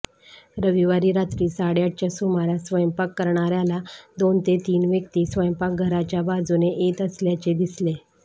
रविवारी रात्री साडेआठच्या सुमारास स्वयंपाक करणाऱ्याला दोन ते तीन व्यक्ती स्वयंपाकघराच्या बाजूने येत असल्याचे दिसले